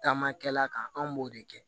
Taamakɛla kan an b'o de kɛ